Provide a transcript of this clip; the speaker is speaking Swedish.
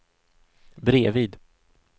bredvid